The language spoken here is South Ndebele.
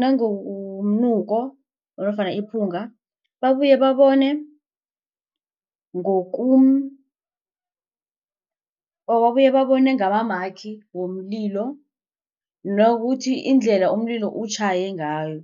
nangomnuko nofana iphunga babuye babone or babuye babone ngamamakhi womlilo nokuthi indlela umlilo utjhaye ngayo.